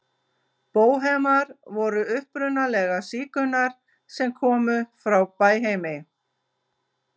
Bóhemar voru upprunalega sígaunar sem komu frá Bæheimi.